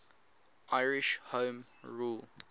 irish home rule